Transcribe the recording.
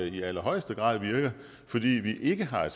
i allerhøjeste grad virker fordi vi ikke har